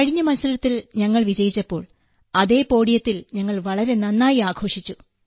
കഴിഞ്ഞ മത്സരത്തിൽ ഞങ്ങൾ വിജയിച്ചപ്പോൾ അതേ പോഡിയത്തിൽ ഞങ്ങൾ വളരെ നന്നായി ആഘോഷിച്ചു